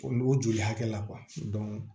O n'u joli hakɛ la